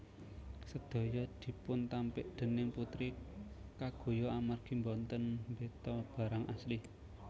Sedaya dipuntampik déning Putri kaguya amargi boten mbeta barang asli